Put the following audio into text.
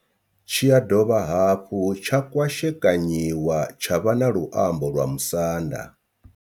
Tshi ya dovha hafhu tsha kwashekanyiwa tsha vha na luambo lwa musanda.